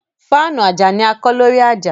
Fáànù ajá ní a kọ́ lórí ajá